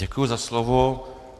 Děkuji za slovo.